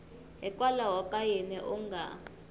hikwalaho ka yini u nga